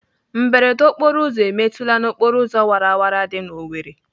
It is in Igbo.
Mberede okporoụzọ emetụla n'okporoụzọ wara wara dị n'Owerri?